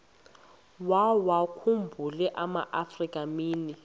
wawakhumbul amaafrika mini